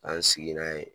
An sigi n'a ye